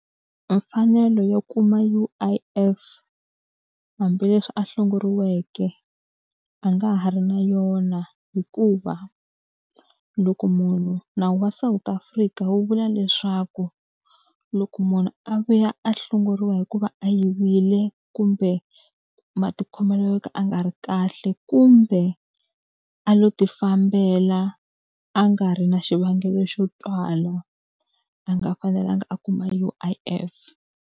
Mfanelo yo kuma U_I_F hambileswi a hlongoriweke a nga ha ri na yona hikuva, loko munhu nawu wa South Afrika wu vula leswaku, loko munhu a vuya a hlongoriwa hikuva a yivile, kumbe matikhomelo yo ka ya nga ri kahle, kumbe a lo ti fambela a nga ri na xivangelo xo twala, a nga fanelanga a kuma U_I_F.